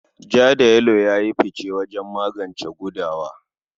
Ja da yelo ya yi fice wajen maganin gudawa.